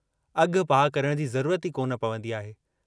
अघ पाह करण जी ज़रूरत ई कोन पवंदी आहे।